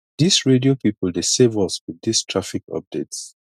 dis radio pipu dey save us wit dis traffic updates